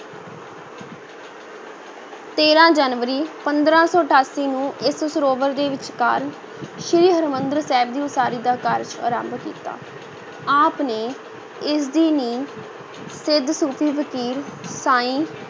ਤੇਰਾਂ ਜਨਵਰੀ, ਪੰਦਰਾਂ ਸੌ ਅਠਾਸੀ ਨੂੰ ਇਸ ਸਰੋਵਰ ਦੇ ਵਿਚਕਾਰ ਸ੍ਰੀ ਹਰਿਮੰਦਰ ਸਾਹਿਬ ਦੀ ਉਸਾਰੀ ਦਾ ਕਾਰਜ ਆਰੰਭ ਕੀਤਾ, ਆਪ ਨੇ ਇਸ ਦੀ ਨੀਂਹ ਸਿੱਧ ਸੂਫੀ ਫ਼ਕੀਰ ਸਾਈਂ